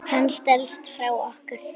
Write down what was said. Hann stelst frá okkur.